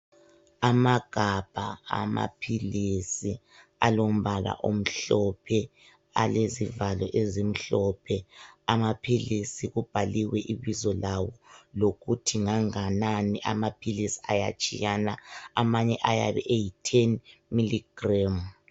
Amagabha amaphilisi alombala omhlophe alezivalo ezimhlophe .Amaphilisi kubhaliwe I ibizo lawo lokuthi nganganani amaphilisi ayatshiyana amanye ayabe eyi 10 milligram.